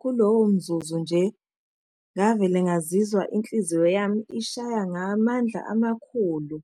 Kulowo mzuzu nje, ngavele ngazizwa inhliziyo yami ishaya ngamandla amakhulu,